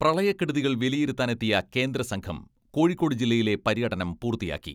പ്രളയക്കെടുതികൾ വിലയിരുത്താനെത്തിയ കേന്ദ്ര സംഘം കോഴിക്കോട് ജില്ലയിലെ പര്യടനം പൂർത്തിയാക്കി.